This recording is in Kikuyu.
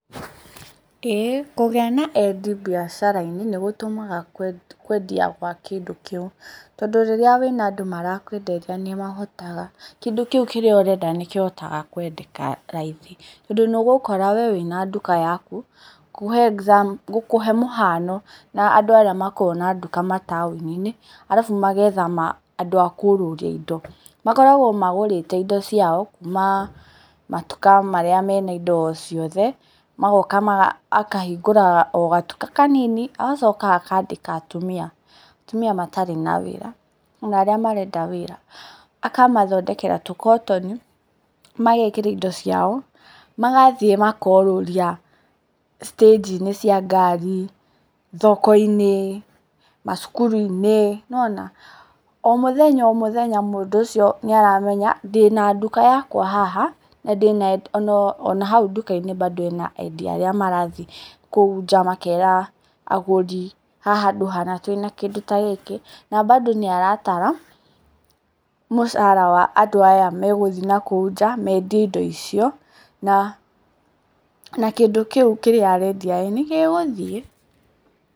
Ĩĩ kũgĩa na endia mbiacara-inĩ nĩ gũtũmaga kwendia gwa kĩndũ kĩu. Tondũ rĩrĩa wĩna andũ marakwenderia nĩ mahotaga, kĩndũ kĩu kĩrĩa ũrenda nĩ kĩhotaga kwendeka raithi. Tondũ nĩ ũgũkora we wĩ na nduka yaku. Gũkũhe mũhano na andũ arĩa makoragwo na nduka mataũni-inĩ, alafu magetha andũ a kũrũria indo. Makoragwo magũrĩte indo ciao matuka marĩa me na indo ciothe, magoka akahingũra o gatuka kanini, agacoka aka andĩka atumia, atumia matarĩ na wĩra na arĩa marenda wĩra. Akamathondekera tũkotoni, magekĩra indo ciao, magathiĩ makorũria citĩnji-inĩ cia ngari, thoko-inĩ, macukuru-inĩ. Nĩ wona? O mũthenya o mũthenya mũndũ ũcio nĩ aramenya ndĩ na nduka yakwa haha, ona hau ndũka-inĩ bado ena endia arĩa marathiĩ kũu nja makera agũri haha handũ hana twĩ na kĩndũ ta gĩkĩ. Na bado nĩaratara mũcara wa andũ aya megũthiĩ na kũu nja mendie indo icio, na kĩndũ kĩu kĩrĩa arendia nĩ gĩgũthiĩ.